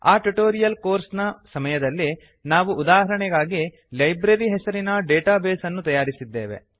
ಆ tutorial course ನ ಸಮಯದಲ್ಲಿ ನಾವು ಉದಾಹರಣೆಗಾಗಿ ಲೈಬ್ರರಿ ಹೆಸರಿನ ಡೇಟಾ ಬೇಸ್ ಅನ್ನು ತಯಾರಿಸಿದ್ದೇವೆ